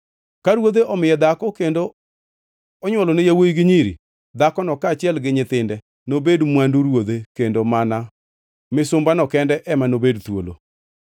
Ka ruodhe omiye dhako kendo onywolone yawuowi gi nyiri, dhakono kaachiel gi nyithinde nobed mwandu ruodhe kendo mana misumbano kende ema nobed thuolo.